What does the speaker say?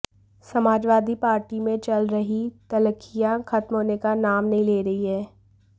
Samajwadi party में चल रहीं तल्खियां ख़त्म होने का नाम नहीं ले रहीं हैं